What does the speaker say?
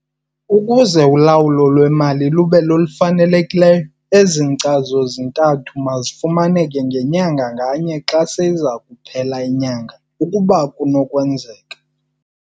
Ukuze ulawulo lwemali lube lolufanelekileyo, ezi nkcazo zintathu mazifumaneke ngenyanga nganye xa seyiza kuphela inyanga ukuba kunokwenzeka.